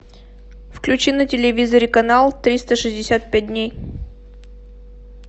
включи на телевизоре канал триста шестьдесят пять дней